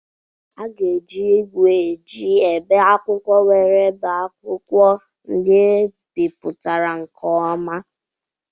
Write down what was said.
A ga-eji ígwè eji ebe akwụkwọ were bee akwụkwọ ndị ebipụtara nke ọma.